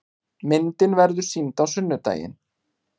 Myndin verður sýnd á sunnudaginn.